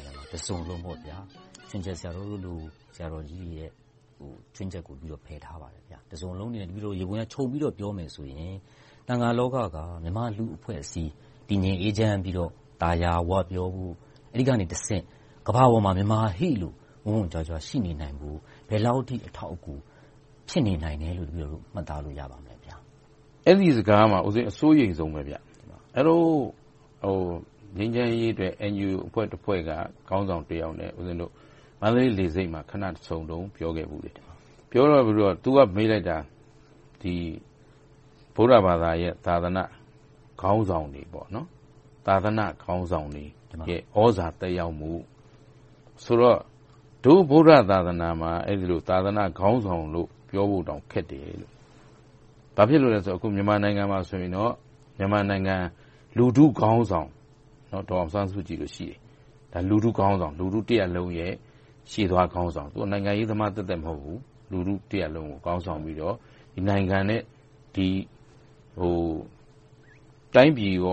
ေရာမှာ တစုံလုံး - ခြွင်းချက် ဆရာတော်တို့လို ဆရာတော်ကြီးတွေကို ဖယ်ထားပါတယ်။ တစုံလုံးကို ခြုံပြီးတော့ ပြောမယ်ဆိုရင် သံဃာလောကက မြန်မာ့လူ့အဖွဲ့အစည်း တည်ငြိမ်အေးချမ်းပြီးတော့ သာယာဝပြောဖို့ အဲဒီကနေတဆင့် ကမ္ဘာပေါ်မှာ မြန်မာဟေ့လို့ ဝင့်ဝင့်ကြွားကြွား ရှိနေနိုင်ဖို့ ဘယ်လောက်အထိ အထောက်အကူ ဖြစ်နေနိုင်တယ်လို့ တပည်တော်တို့ မှတ်သားလို့ရပါသလဲ ဘုရား။ အဲဒီစကားကို ဦးပဇင်း အစိုးရိမ်ဆုံးပဲ။ ငြိမ်းချမ်းရေးအတွက် အန်ဂျီအိုအဖွဲ့တဖွဲ့က ခေါင်းဆောင်တယောက်နဲ့ မန္တလေးလေဆိပ်မှာ ခဏဆုံတုန်း ပြောခဲ့ဖူးတယ်။ သူက မေးလိုက်တာက ဗုဒ္ဓဘာသာရဲ့ သာသနာ့ခေါင်းဆောင်တွေရဲ့ ဲသြဇာသက်ရောက်ဖို့ ဆိုတဲ့နေရာမှာ ဒို့ဗုဒ္ဓသာသနာမှာ အဲဒီလို သာသနာခေါင်းဆောင်လို့တောင် ပြောဖို့ခက်တယ်။ ဘာဖြစ်လို့လဲဆိုတော့ အခု မြန်မာနိုင်ငံမှာဆိုရင်တော့ မြန်မာနိုင်ငံလူထုခေါင်းဆောင် ဒေါ်အောင်ဆန်းစုကြည် ရှိတယ်။ လူထုတရပ်လုံးရဲ့ ရှေ့သွားခေါင်းဆောင်။ သူက နိုင်ငံရေးသမားသက်သက် မဟုတ်ဘူး။ လူထုတရပ်လုံးကို ခေါင်းဆောင်ပြီးတော့ နိုင်ငံနဲ့ တိုင်းပြည်အတွ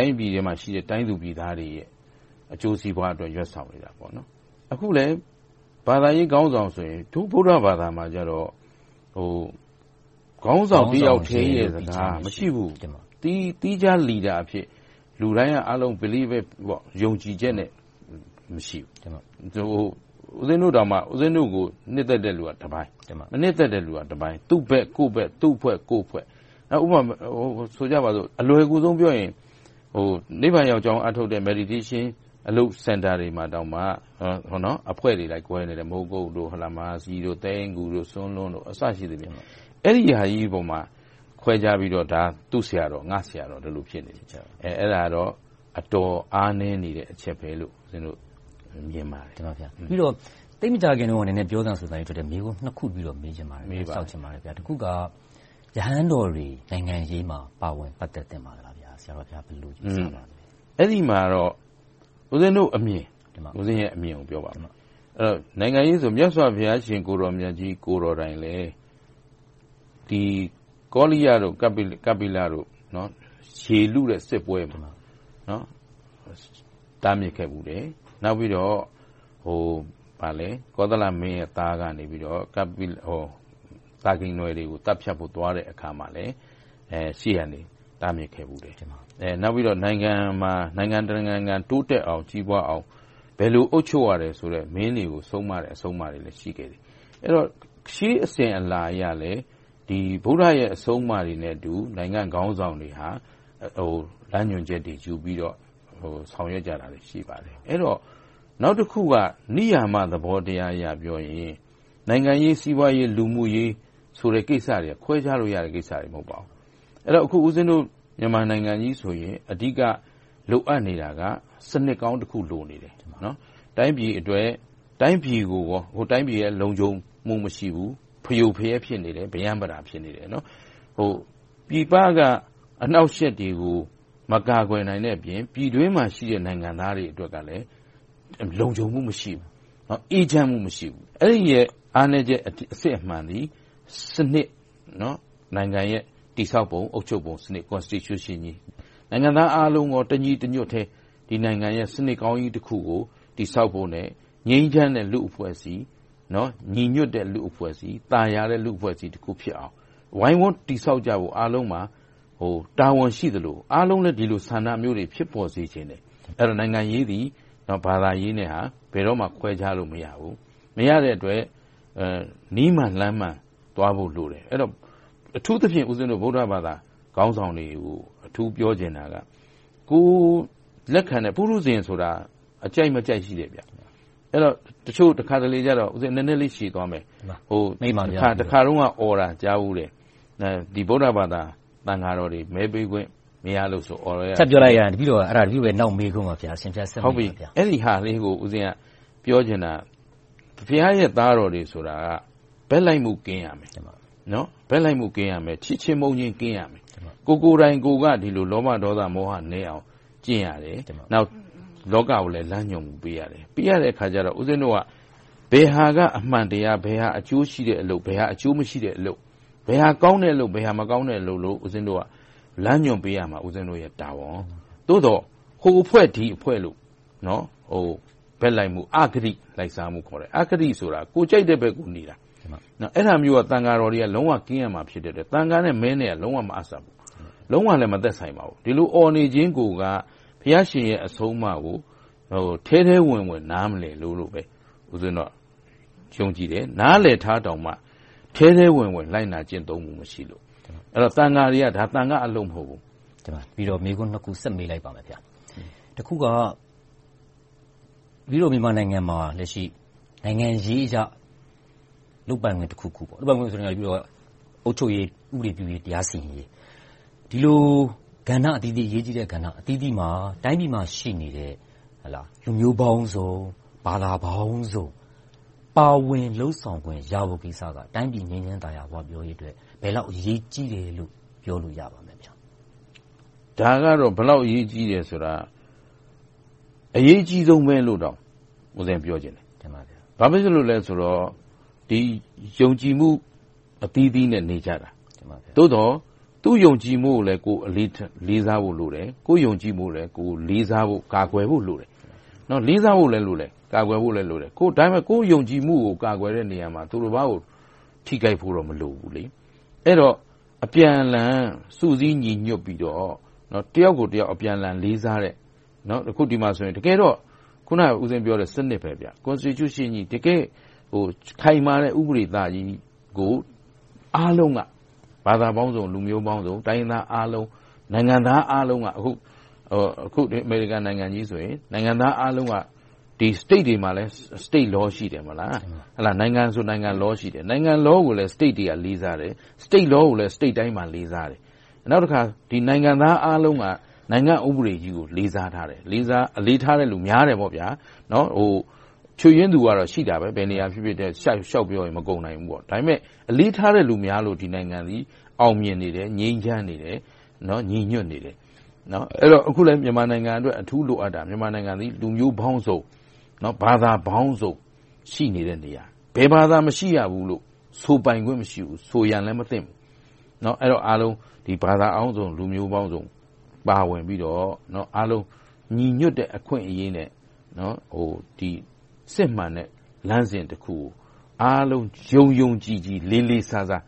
င်းမှာရှိတဲ့ ပြည်သူပြည်သားတွေရဲ့ အကျိုးစီးပွားအတွက် ရွက်ဆောင်နေတာဖြစ်တယ်။ အခုလဲ ဘာသာရေးခေါင်းဆောင်ဆိုရင် ဗုဒ္ဓဘာသာမှာဆိုရင် ခေါင်းဆောင်တစ်ယောက်ထဲရဲ့ စကားဆိုပြီး မရှိဘူး။ သီးခြားခေါင်းဆောင်အဖြစ် လူတိုင်းက ယုံကြည်ချက်နဲ့ မရှိဘူး။ ဦးပဉ္ဖင်းတို့ကို နှစ်သက်တဲ့လူကတပိုင်း မနှစ်သက်တဲ့လူကတပိုင်း - သူဘက်ကိုယ်ဘက်၊ သူ့အဖွဲ့ကိုယ့်အဖွဲ့ ရှိကြတယ်။ ဥပမာဆိုကြပါစို့ အလွယ်ကူဆုံးကို ပြောရရင် နိဗ္ဗာန်ရောက်ကြောင်း အားထုတ်တဲ့ တရားစခန်းတွေမှာတောင် အဖွဲ့တွေအလိုက် ကွဲနေတယ်။ မိုးကုတ်၊ မဟာစည်၊ သဲအင်းဂူ စသဖြင့် အဲဒါတွေပေါ်မှာ ခွဲခြားပြီးတော့ သူ့ဆရာတော်၊ ငါ့ဆရာတော်ဆိုပြီး ဖြစ်ကြတယ်။ အဲဒါကတော့ အတော်အားနည်းနေတဲ့ အချက်ပဲလို့ မြင်ပါတယ်။ သိပ်မကြာသေးခင်က နည်းနည်းထွက်လာတဲ့ ပြောသံဆိုသံနဲ့ဆိုင်တဲ့ မေးခွန်းနှစ်ခုကို မေးချင်ပါတယ်။ တစ်ခုက ရဟန်းတော်တွေ နိုင်ငံရေးမှာ ပါဝင်ပတ်သက်သင့်ပါလား။ ဘယ်လိုယူဆပါသလဲ။ ဦးပဉ္ဇင်းရဲ့ အမြင်ကို ပြောပါမယ်။ နိုင်ငံရေးကို မြတ်စွာဘုရားရှင်ကိုယ်တော်မြတ်ကြီး ကိုယ်တိုင်လည်း ကောလိယ၊ ကပ္ပိလတို့ ရေလုတဲ့စစ်ပွဲမှာ တားမြစ်ခဲ့ဖူးတယ်။ နောက်ပြီးတော့ ကောသလမင်းရဲ့ သားက သာကီနွယ်တွေကို သတ်ဖြတ်ဖို့ သွားတဲ့အခါမှာလည်း ရှေ့ကနေ တားမြစ်ခဲ့ဖူးတယ်။ နောက်ပြီးတော့ နိုင်ငံတနိုင်ငံ တိုးတက်ကြီးပွားအောင် ဘယ်လိုအုပ်ချုပ်ရမယ်ဆိုတဲ့ မင်းတွေကို ဆုံးမတဲ့ အဆုံးအမတွေလည်း ရှိခဲ့တယ်။ အဲဒီတော့ ရှေ့အစဉ်အလာအရလည်း ဗုဒ္ဓရဲ့ အဆုံးအမတွေနဲ့ နိုင်ငံခေါင်းဆောင်တွေဟာ လမ်းညွှန်ချက်တွေယူပြီးတော့ ဆောင်ရွက်ကြတာတွေ ရှိပါတယ်။ နောက်တခုက နိယာမသဘောတရားအရ ပြောရမယ်ဆိုရင် နိုင်ငံရေး၊ စီးပွားရေး၊ လူမှုရေး ကိစ္စတွေက ခွဲခြားထားလို့ရတဲ့ ကိစ္စတွေ မဟုတ်ပါဘူး။ အဲဒီတော့ ဦးပဉ္ဇင်းတို့ နိုင်ငံကြီးဆိုရင် အဓိက လိုအပ်နေတာက စနစ်ကောင်းတစ်ခု လိုအပ်နေတယ်။ တိုင်းပြည်အတွက် တိုင်းပြည်က လုံခြုံမှု မရှိဘူး။ ဖရိုဖရဲ၊ ပရမ်းပတာ ဖြစ်နေတယ်။ ပြည်ပက အနှောင့်အယှက်တွေကို မကာကွယ်နိုင်တဲ့အပြင် ပြည်တွင်းမှာရှိတဲ့ နိုင်ငံသားတွေအတွက်လည်း လုံခြုံမှုမရှိဘူး။ အေးချမ်းမှု မရှိဘူး။ အဲဒီရဲ့ အားနည်းချက် အစစ်အမှန်သည် စနစ် နိုင်ငံရဲ့ တည်ဆောက်ပုံ၊ အုပ်ချုပ်ပုံစနစ် Constitution ကြီး၊ နိုင်ငံသားအားလုံး တညီတညွတ်တည်း ဒီနိုင်ငံရဲ့ စနစ်ကောင်းကြီးတစ်ခုကို တည်ဆောက်ဖို့နဲ့ ငြိမ်းချမ်းတဲ့ လူ့အဖွဲ့အစည်း၊ ညီညွှတ်တဲ့ လူ့အဖွဲ့အစည်း၊ သာယာတဲ့ လူ့အဖွဲ့အစည်းတစ်ခုဖြစ်အောင် ဝိုင်းဝန်းတည်ဆောက်ကြဖို့ အားလုံးမှာ တာဝန်ရှိသလို၊ အားလုံးလည်း ဒီလိုဆန္ဒမျိုးတွေ ဖြစ်ပေါ်စေချင်တယ်။ အဲဒီတော့ နိုင်ငံရေးသည် ဘာသာရေးနဲ့ ဘယ်တော့မှ ခွဲခြားလို့ မရဘူး။ မရတဲ့အတွက် နည်းမှန်လမ်းမှန် သွားဖို့လိုတယ်။ အဲဒီတော့ အထူးသဖြင့် ဗုဒ္ဓဘာသာ ခေါင်းဆောင်တွေကို အထူးပြောချင်တာက ပုထုဇင်ဆိုတာ ကြိုက်မကြိုက်ရှိတယ်။ အဲဒီတော့ တခါတလေကြတော့ ဦးပဉ္ဖင်း နည်းနည်းလေးရှည်သွားမယ်… တခါတုန်းက အော်တာကြားဖူးတယ်။ ဗုဒ္ဓဘာသာသံဃာတော်တွေ မဲပေးခွင့် မရလို့ဆိုပြီး အော်လိုက်ကြတယ်။ ဖြတ်ပြောရရင် တပည်တော်ရဲ့ နောက်မေးခွန်း ဖြစ်ပါတယ်။ အရှင်ဘုရား ဆက်ပြီးမိန့်တော်မူပါ။ အဲဒီအခါလေးကို ပြောချင်တာက ဘုရားရဲ့ သားတော်တွေဆိုတာက ဘက်လိုက်မှုကင်းရမယ်။ ချစ်ချင်းမုန်းချင်း ကင်းရမယ်။ ကိုယ်ကိုယ်တိုင်က ဒေါသ၊ မောဟနည်းအောင် ကျင့်ရတယ်။ နောက် လောကကိုလည်း လမ်းညွှန်ပေးရတယ်။ ပေးရတဲ့အခါကြတော့ ဦးပဉ္ဇင်းတို့က ဘယ်ဟာက အမှန်တရား၊ ဘယ်ဟာက အကျိုးရှိတဲ့အလုပ်၊ ဘယ်ဟာအကျိုးမရှိတဲ့အလုပ်၊ ဘယ်ဟာကောင်းတဲ့အလုပ်၊ ဘယ်ဟာမကောင်းတဲ့အလုပ်လို့ လမ်းညွှန်ပေးရမယ်။ အဲဒါ ဦးပဉ္ဖင်းတို့ရဲ့တာဝန်။ သို့သော် ဟိုအဖွဲ့ ဒီအဖွဲ့လို့ ဘက်လိုက်မှု၊ အဂတိလိုက်စားမှု - အဂတိဆိုတာ ကိုယ်ကြိုက်တဲ့ဘက်ကို နေတာ။ အဲဒါမျိုးက သံဃာတော်တွေက လုံးဝကင်းရမှာဖြစ်တယ်။ သံဃာနဲ့ မဲက လုံးဝမအပ်ဆက်ဘူး။ လုံးဝလည်း မသက်ဆိုင်ပါဘူး။ ဒီလိုအော်နေခြင်းကိုက ဘုရားရှင်ရဲ့ အဆုံးအမကို ထဲထဲဝင်ဝင် နားမလည်တာလို့ပဲ ယုံကြည်တယ်။ နားလည်ထားတောင်မှ ထဲထဲဝင်ဝင် လိုက်နာကျင့်သုံးမှု မရှိလို့။ ဒါက သံဃာတွေရဲ့အလုပ် မဟုတ်ဘူး။ တပည်တော် မေးခွန်းနှစ်ခု ဆက်မေးလိုက်ပါမယ်ဘုရား။ တစ်ခုက မြန်မာနိုင်ငံမှာ လက်ရှိနိုင်ငံရေးအရ လုပ်ပိုင်ခွင့်တစ်ခုခု - အုပ်ချုပ်ရေး၊ ဥပဒေပြုရေး၊ တရားစီရင်ရေး - ဒီလိုကဏ္ဍအသီးသီး အရေးကြီးတဲ့ကဏ္ဍအသီးသီးမှာ တိုင်းပြည်မှာရှိနေတဲ့ လူမျိုးပေါင်းစုံ၊ ဘာသာပေါင်းစုံ ပါဝင်လုပ်ဆောင်ခွင့် ရဖို့ကိစ္စက တိုင်းပြည်ငြိမ်းချမ်းသာယာဝပြောရေးအတွက် ဘယ်လောက်အရေးကြီးတယ်လို့ ပြောလို့ရပါလဲ။ ဒါကတော့ ဘယ်လောက်အရေးကြီးတယ်ဆိုတာ အရေးကြီးဆုံးပဲလို့ ပြောချင်တယ်။ ဘာဖြစ်လို့လဲဆိုတော့ ယုံကြည်မှုအသီးသီးနဲ့ နေကြတာ။ သို့သော် သူ့ယုံကြည်မှုကိုလည်း ကိုယ်လေးစားဖို့လိုတယ်။ ကိုယ့်ယုံကြည်မှုကိုလည်း ယုံကြည်ဖို့၊ ကာကွယ်ဖို့လိုတယ်။ လေးစားဖို့လည်း လိုတယ်။ ဒါပေမဲ့ ကိုယ့်ယုံကြည်မှုကို ကာကွယ်တဲ့နေရာမှာ သူ့တပါးကို ထိခိုက်ဖို့တော့ မလိုဘူး။ အဲဒီတော့ အပြန်အလှန် စုစည်းညီညွှတ်ပြီးတော့ တစ်ယောက်ကိုတစ်ယောက် အပြန်အလှန်လေးစားတဲ့ - တကယ်တော့ စနစ်ပါပဲ - Constitution တကယ့်ခိုင်မာတဲ့ ဥပဒေကြီးကို အားလုံးက ဘာသာပေါင်းစုံ၊ လူမျိုးပေါင်းစုံ၊ တိုင်းရင်းသားအားလုံး၊ နိုင်ငံသားအားလုံးက အခုအမေရိကန်နိုင်ငံကြီးဆိုရင် နိုင်ငံသားအားလုံးက ဒီပြည်နယ်တွေမှာဆိုလည်း ပြည်နယ်ဥပဒေ ရှိတယ်။ နိုင်ငံဆိုရင်လည်း နိုင်ငံတော်ဥပဒေ ရှိတယ်။ နိုင်ငံတော်ဥပဒေကိုလည်း ပြည်နယ်တွေက လေးစားတယ်။ ပြည်နယ်ဥပဒေတွေကိုလည်း ပြည်နယ်တိုင်းက လေးစားတယ်။ နောက်တခါ နိုင်ငံသားအားလုံးက နိုင်ငံ့ဥပဒေကြီးကို လေးစားကြတယ်။ အလေးထားတဲ့လူများတယ်။ ဘယ်နေရာမဆို ချို့ယွင်းသူကတော့ ရှိပါတယ်။ ဒါပေမဲ့ အလေးထားတဲ့လူများလို့ ဒီနိုင်ငံသည် အောင်မြင်နေတယ်။ ငြိမ်းချမ်းနေတယ်။ ညီညွှတ်နေတယ်။ အခုလဲ မြန်မာနိုင်ငံအတွက် အထူးလိုအပ်နေတာက မြန်မာနိုင်ငံသည် လူမျိုးပေါင်းစုံ၊ ဘာသာပေါင်းစုံ ရှိနေတဲ့နေရာ။ ဘယ်ဘာသာမရှိရဘူးလို့ ဆိုပိုင်ခွင့် မရှိဘူး။ ဆိုလည်းမဆိုသင့်ဘူး။ အဲဒီတော့ အားလုံးဘာသာပေါင်းစုံ၊ လူမျိုးပေါင်းစုံ ပါဝင်ပြီးတော့ အားလုံးညီညွှတ်တဲ့အခွင့်အရေးနဲ့ စစ်မှန်တဲ့ လမ်းစဉ်တစ်ခုကို အားလုံးယုံယုံကြည်ကြည်၊ လေးလေးစားစား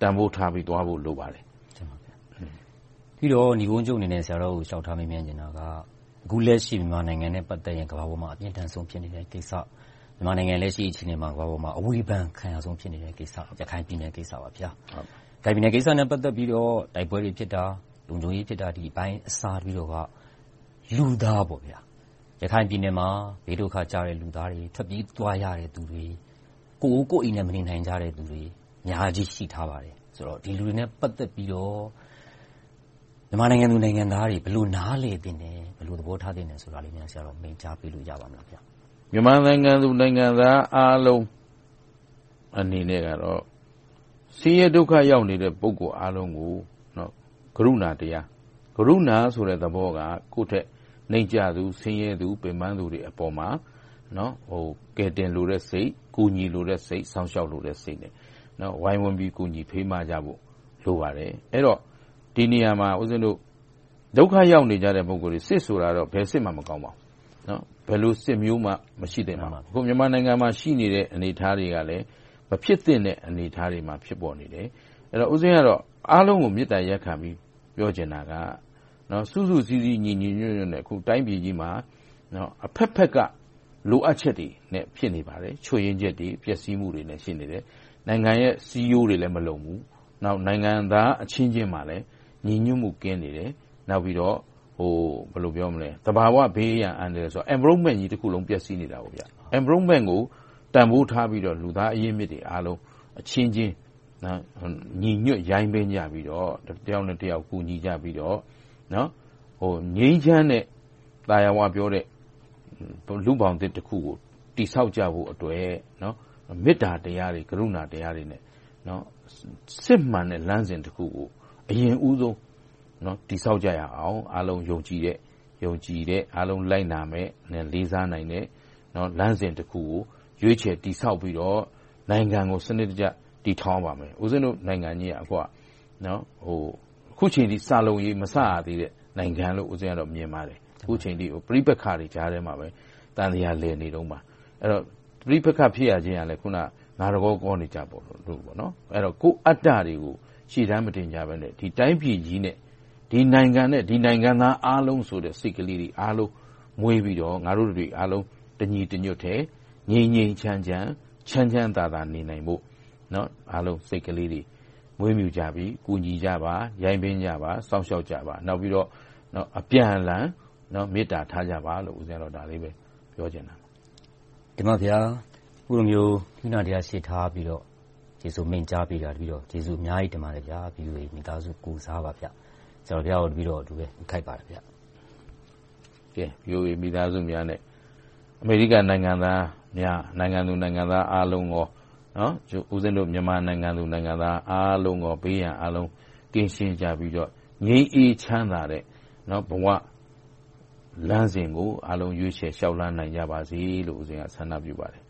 တန်းဖိုးထားပြီးသွားဖို့ လိုပါတယ်။ နိဂုံးချုပ်အနေနဲ့ လျှောက်ထားမေးမြန်းချင်တာက အခုလက်ရှိ မြန်မာနိုင်ငံနဲ့ ပတ်သက်ရင် ကမ္ဘာပေါ်မှာ အပြင်းအထန်ဖြစ်နေတဲ့ကိစ္စ၊ မြန်မာနိုင်ငံ လက်ရှိအခြေအနေမှာ ကမ္ဘာပေါ်မှာ ဝေဖန်အခံရဆုံး ဖြစ်နေတဲ့ကိစ္စက ရခိုင်ပြည်နယ် ဖြစ်နေပါတယ်။ အဲဒီမှာ တိုက်ပွဲတွေဖြစ်တာ၊ လုံခြုံရေးဖြစ်တာအစ လူသား - ရခိုင်ပြည်နယ်မှာ ဘေးဒုက္ခကျတဲ့ လူသားတွေ၊ ထွက်ပြေးသွားရတဲ့လူတွေ၊ ကိုယ်အိုးကိုယ့်အိမ်နဲ့ မနေနိုင်ကြတဲ့လူတွေ အများကြီးရှိထားပါတယ်။ ဒီလူတွေနဲ့ ပတ်သက်ပြီးတော့ မြန်မာနိုင်ငံသူနိုင်ငံသားတွေ ဘယ်လိုနားလည်သင့်သလဲ။ ဘယ်လိုသဘောထားသင့်သလဲဆိုတာကို ဆရာတော်မိန့်ကြားပေးလို့ ရပါသလား။ မြန်မာနိုင်ငံသူနိုင်ငံသားအားလုံး အနေနဲ့ကတော့ ဆင်းရဲဒုက္ခ သက်ရောက်နေတဲ့ လူတွေအားလုံးကို ကရုဏာတရား၊ - ကရုဏာဆိုတဲ့သဘောက ကိုယ့်ထက်နိမ့်ကျသူ၊ ဆင်းရဲသူ၊ ပင်းပန်သူတွေအပေါ်မှာ ကယ်တင်လိုတဲ့စိတ်၊ ကူညီလိုတဲ့စိတ်၊ စောင့်ရှောက်လိုတဲ့စိတ်နဲ့ ဝိုင်းဝန်းပြီး ကူညီဖေးမကြဖို့ လိုပါတယ်။ အဲဒီတော့ ဒီနေရာမှာ ဒုက္ခရောက်နေကြတဲ့ ပုဂ္ဂိုလ်တွေ စစ်ဆိုတာကတော့ ဘယ်စစ်မှ မကောင်းပါဘူး။ ဘယ်လိုစစ်မျိုးမှ မရှိသင့်တာပါ။ အခု မြန်မာနိုင်ငံမှာ ရှိနေတဲ့ အနေအထားတွေကလည်း မဖြစ်သင့်တဲ့ အနေအထားတွေမှာ ဖြစ်ပေါ်နေတယ်။ ဦးပဉ္ဇင်းကတော့ အားလုံးကို မေတ္တာရပ်ခံပြီး ပြောချင်တာက စုစုစည်းစည်း၊ ညီညီညွှတ်ညွှတ်နဲ့ တိုင်းပြည်ကြီးမှာ အဘက်ဘက်က လိုအပ်ချက်တွေနဲ့ ဖြစ်နေပါတယ်။ ချို့ယွင်းချက်တွေ၊ ပျက်ဆီးမှုတွေလည်း ရှိနေတယ်။ နိုင်ငံရဲ့စည်းရိုးတွေလည်း မလုံဘူး။ နောက်နိုင်ငံသားအချင်းချင်းမှာလည်း ညီညွှတ်မှုကင်းနေတယ်။ နောက်ပြီးတော့ သဘာဝပတ်ဝန်းကျင်တစ်ခုလုံး ပျက်ဆီးနေတယ်။ သဘာဝပတ်ဝန်းကျင်ကြီးကို တန်းဖိုးထားပြီးတော့ လူသားအရင်းအမြစ်တွေအားလုံး အချင်းချင်း၊ ညီညွှတ်ယိုင်းပင်းကြပြီးတော့ တစ်ယောက်နဲ့တစ်ယောက် ကူညီကြပြီးတော့ ငြိမ်းချမ်းတဲ့၊ သာယာဝပြောတဲ့ လူ့ဘောင်သစ်တစ်ခုကို တည်ဆောက်ကြဖို့အတွက် မေတ္တာတရားတွေ၊ ကရုဏာတရားတွေနဲ့ စစ်မှန်တဲ့လမ်းစဉ်တစ်ခုကို အရင်ဦးဆုံး တည်ဆောက်ကြရအောင်၊ အားလုံးယုံကြည်တဲ့၊ အားလုံးလိုက်နာတဲ့၊ လေးစားနိုင်တဲ့ လမ်းစဉ်တစ်ခုကို ရွေးချယ်တည်ဆောက်ပြီးတော့ နိုင်ငံကို စနစ်တကျ တည်ထောင်ရပါမယ်။ အခုက နိုင်ငံကြီးက အခုအချိန်အထိ စလုံးရေး မစရသေးတဲ့ နိုင်ငံလို့ မြင်ပါတယ်။ ပဋိပက္ခတွေကြားထဲမှာပဲ သံသရာလည်နေတုန်းပါ။ အဲဒီတော့ ပဋိပက္ခ ဖြစ်ရခြင်းကလဲ ငါတကောကောနေကြလို့ပါ။ အဲဒီတော့ ကိုယ့်အတ္တတွေကို ရှေ့တန်းမတင်ကြဘဲနဲ့ ဒီတိုင်းပြည်ကြီးနဲ့ ဒီနိုင်ငံနဲ့ ဒီနိုင်ငံသားအားလုံးဆိုတဲ့ စိတ်ကလေးတွေ အားလုံးကို မွေးပြီးတော့ ငါတို့တတွေအားလုံး တညီတညွှတ်တည်း ငြိမ်းငြိမ်းချမ်းချမ်း၊ ချမ်းချမ်းသာသာ နေနိုင်ဖို့ အားလုံးစိတ်ကလေးတွေ မွေးမြူးကြပြီး၊ ကူညီကြပါ၊ ရိုင်းပင်းကြပါ။ စောင့်ရှောက်ကြပါ။ နောက်ပြီးတော့ အပြန်အလှန် မေတ္တာထားကြပါလို့ ဒါတွေပဲ ပြောချင်ပါတယ်။ အခုလိုမျိုး မေတ္တာတရား ရှေ့ထားပြီးလို့ ဖြေဆိုမိန့်ကြားပေးတာကို တပည်တော် VOA မိသားစု ကိုယ်စား ကျေးဇူးအများကြီးတင်ပါတယ်ဘုရား။ VOA မိသားစုများနဲ့ အမေရိကန်နိုင်ငံသူ နိုင်ငံသားအားလုံး၊ မြန်မာနိုင်ငံသူနိုင်ငံသားအားလုံး ဘေးရန်အားလုံး ကင်းရှင်းကြပြီးတော့ ငြိမ်းအေးချမ်းသာတဲ့ ဘဝလမ်းစဉ်ကို အားလုံးရွေးချယ်လျှောက်လှမ်းနိုင်ကြပါစေလို့ ဆန္ဒပြုပါတယ်